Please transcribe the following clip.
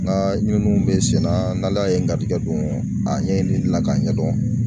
N ka ɲinini bɛ senna n'ala ye ngalon tigɛ don a ɲɛ la k'a ɲɛdɔn.